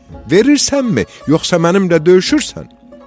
Verirsənmi, yoxsa mənimlə döyüşürsən?